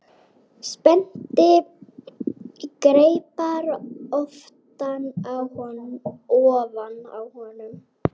Spennti greipar ofan á honum.